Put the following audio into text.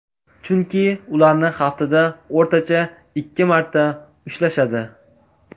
Chunki ularni haftada o‘rtacha ikki marta ushlashadi.